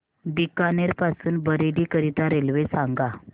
बीकानेर पासून बरेली करीता रेल्वे सांगा